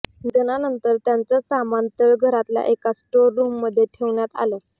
निधनानंतर त्यांचं सामान तळघरातल्या एका स्टोर रूममध्ये ठेवण्यात आलं